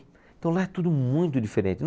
Então lá é tudo muito diferente.